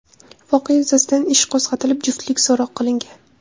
Voqea yuzasidan ish qo‘zg‘atilib , juftlik so‘roq qilingan.